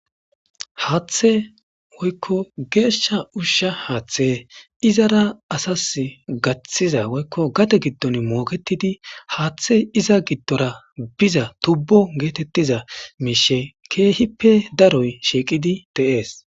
haaththe woykko geeshsha ushsha haaththe izara asas gaththiza woykko gate giddon mooketidi haaththe iza giddora biza tubbo geetettiza miishe keehippe daroy shiiqidi de7ees